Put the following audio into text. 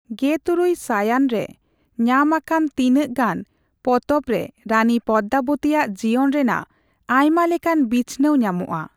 ᱜᱮᱼᱛᱩᱨᱩᱭ ᱥᱟᱭᱟᱱ ᱨᱮ ᱧᱟᱢᱟᱠᱟᱱ ᱛᱤᱱᱟᱹᱜ ᱜᱟᱱ ᱯᱚᱛᱚᱵ ᱨᱮ ᱨᱟᱱᱤ ᱯᱚᱫᱢᱟᱵᱚᱛᱤᱭᱟ ᱡᱤᱭᱚᱱ ᱨᱮᱱᱟᱜ ᱟᱭᱢᱟ ᱞᱮᱠᱟᱱ ᱵᱤᱪᱷᱱᱟᱹᱣ ᱧᱟᱢᱚᱜᱼᱟ ᱾